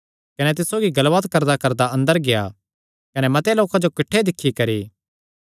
कने तिस सौगी गल्लबात करदाकरदा अंदर गेआ कने मते लोकां जो किठ्ठे दिक्खी करी